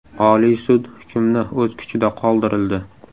Oliy sud hukmni o‘z kuchida qoldirildi.